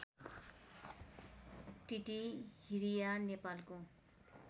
टिटिहिरिया नेपालको